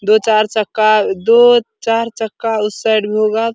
दो चार चक्का दो चार चक्का उस साइड भी होगा।